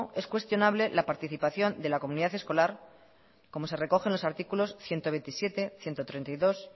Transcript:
es cuestionable la participación de la comunidad escolar como se recoge en los artículos ciento veintisiete ciento treinta y dos